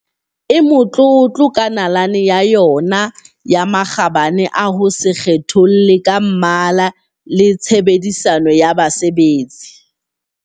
e motlotlo ka nalane ya yona ya makgabane a ho se kgetholle ka mmala le tshe bedisano ya basebetsi.